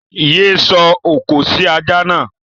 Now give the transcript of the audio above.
Yé sọ òkò sí ajá náà!